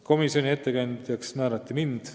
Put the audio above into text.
Komisjoni ettekandjaks määrati mind.